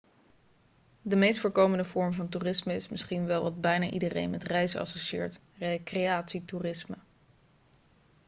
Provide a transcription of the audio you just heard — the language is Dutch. de meest voorkomende vorm van toerisme is misschien wel wat bijna iedereen met reizen associeert recreatietoerisme